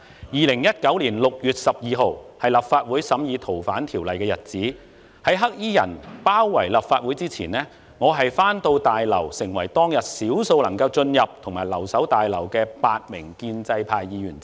2019年6月12日是立法會審議《逃犯條例》的日子，在"黑衣人"包圍立法會之前，我回到大樓，成為當日少數能夠進入及留守大樓的8名建制派議員之一。